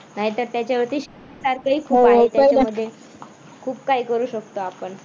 नाहीतर त्याच्यावरती शिकण्यासारखं ही खूप आहे. त्याच्यामध्ये खूप काही करू शकतो आपण